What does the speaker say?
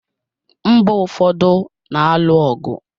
Mba ụfọdụ na-alụ ọgụ.